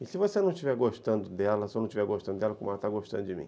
E se você não estiver gostando dela, se eu não estiver gostando dela, como ela está gostando de mim?